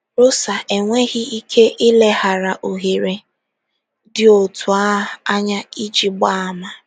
Rosa enweghị ike ileghara ohere dị otu a anya iji gbaa àmà.